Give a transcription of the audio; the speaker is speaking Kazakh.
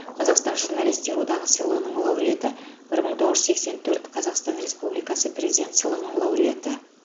қазақстан журналистер одағы сыйлығының лауреаты бір мың тоғыз жүз сексен төрт қазақстан республикасы президент сыйлығының лауреаты